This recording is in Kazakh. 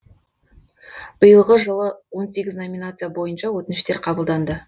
биылғы жылы он сегіз номинация бойынша өтініштер қабылданды